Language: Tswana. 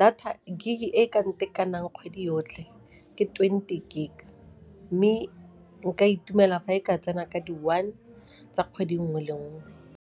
data gig e ka ntekanang kgwedi yotlhe ke twenty gig mme nka itumela fa e ka tsena ka di-one tsa kgwedi nngwe le nngwe.